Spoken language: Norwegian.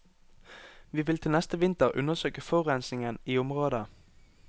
Vi vil til neste vinter undersøke forurensingen i området.